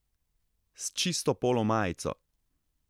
S čisto polo majico.